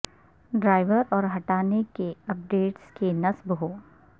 driver اور ہٹانے کے اپ ڈیٹس کے نصب ہو